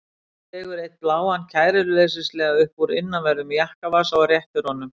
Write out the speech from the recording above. Dregur einn bláan kæruleysislega upp úr innanverðum jakkavasa og réttir honum.